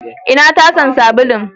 Ina tasa sabulun?